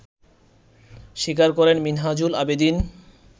স্বীকার করেন মিনহাজুল আবেদীন